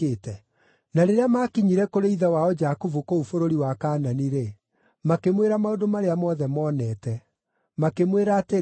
Na rĩrĩa maakinyire kũrĩ ithe wao Jakubu kũu bũrũri wa Kaanani-rĩ, makĩmwĩra maũndũ marĩa mothe monete. Makĩmwĩra atĩrĩ,